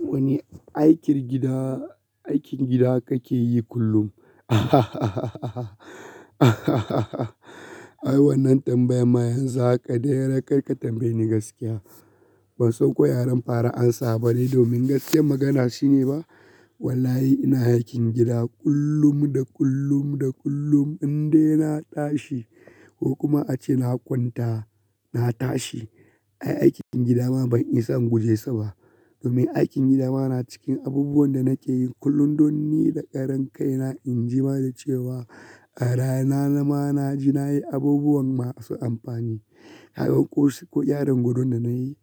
Wani aikin gida, aikin gida kake yi kullum? Ai wannan tambaya ma yanzu haka dai rakar ka tambaye ni gaskiya. Ban sauko yaren fara amsa bane domin gaskiyar magana shine ba. Wallahi ina aikin gida kullum da kullum da kullum, indai na tashi ko kuma ace na kwanta na tashi. Ai aikin gida ma ban isa in guje sa ba. Domin aikin gida ma na cikin abubuwan da nake yi kullum, don ni da karan kai na inji ma da cewa a rana na ma naji nayi abubuwan masu amfani. Haka ko gyaran gwadon da nayi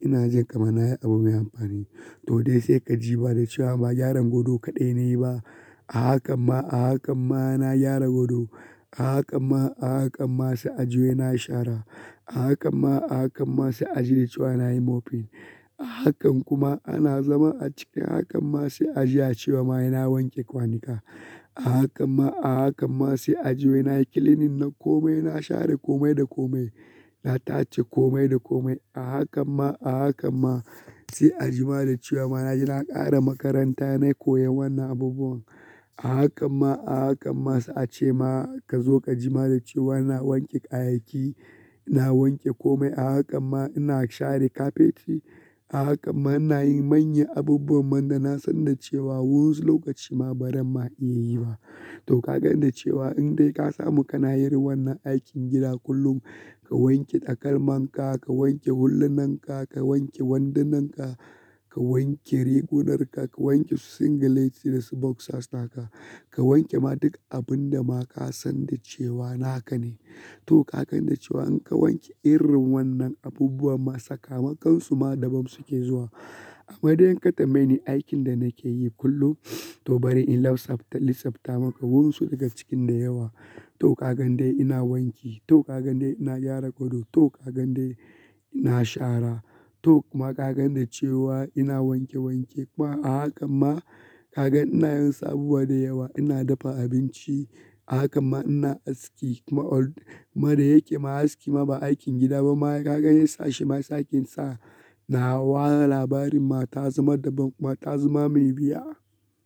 ina jin kamar nayi abu mai amfani. To dai sai ka ji ba da cewa ba gyaran gwado kaɗai nayi ba. A haka ma, a haka ma na gyara gado. A haka ma, a haka ma sai a ji wai nashara. A haka ma, a haka ma sai a ji da cewa nayi mopping. A haka kuma ana zama a cikin hakan ma sai a ji a cewa mayana wanke kwanika. A haka ma, a haka ma sai a ji wai nayi cleaning na komai, na share komai da komai, na tace komai da komai. A haka ma, a haka ma sai a jima da cewa ma naji na ƙare makaranta nayi koyan wannan abubuwan. A haka ma, a haka ma sai a ce ma ka zo ka jima da cewa na wanke kayayyaki, na wanke komai. A haka ma ina share kafeti. A haka ma nayi manyan abubuwan man da na san da cewa wunsu lokaci ma baran ma iya yi ba. To ka gani da cewa indai ka samu kana yin wannan aikin gida kullum, ka wanke takalman ka, ka wanke hulunan ka, ka wanke wandunan ka, ka wanke rigunar ka, ka wanke singileti da su boxers naka, ka wanke ma duk abun da ma ka san da cewa naka ne. To ka gani da cewa in ka wanke irin wannan abubuwan masu kama kansu ma daban suke zuwa. Amma dai in ka tambaye ni aikin da nake yi kullum to bari in list ta maka wunsu daga cikin da yawa. To ka gani dai ina wanki, to ka gani dai ina gyara gado, to ka gani dai ina shara, to kuma ka gani da cewa ina wanke wanke kuma a haka ma ka ga ina yin sabuwa da yawa, ina dafa abinci. A haka ma ina aski kuma da yake ma aski ma ba aikin gida ba mayaka gani sashe ma sakinsa. Na ware labarin mata zama daban kuma ta zama mai biya.